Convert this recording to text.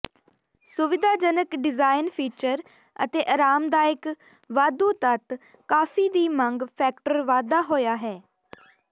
ਸੁਵਿਧਾਜਨਕ design feature ਅਤੇ ਆਰਾਮਦਾਇਕ ਵਾਧੂ ਤੱਤ ਕਾਫ਼ੀ ਦੀ ਮੰਗ ਫੈਕਟਰ ਵਾਧਾ ਹੋਇਆ ਹੈ